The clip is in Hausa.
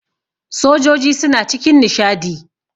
sojoji suna cikin nishadi